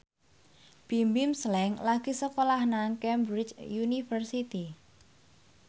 Bimbim Slank lagi sekolah nang Cambridge University